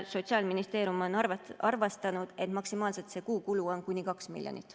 Sotsiaalministeerium on arvestanud, et maksimaalselt on kuukulu kuni 2 miljonit.